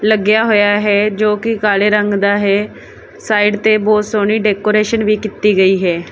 ਲੱਗਿਆ ਹੋਇਆ ਹੈ ਜੋ ਕਿ ਕਾਲੇ ਰੰਗ ਦਾ ਹੈ ਸਾਈਡ ਤੇ ਬਹੁਤ ਸੋਹਣੀ ਡੈਕੋਰੇਸ਼ਨ ਵੀ ਕੀਤੀ ਗਈ ਹੈ।